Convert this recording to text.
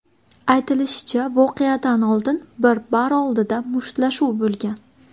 Aytilishicha, voqeadan oldin bir bar oldida mushtlashuv bo‘lgan.